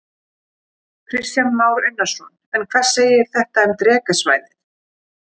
Kristján Már Unnarsson: En hvað segir þetta um Drekasvæðið?